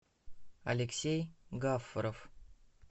алексей гафаров